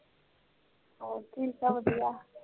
ਹੋੜ ਠੀਕ ਠਾਕ ਵਧੀਆ